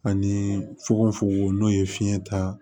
Ani fugofugo n'o ye fiɲɛ ta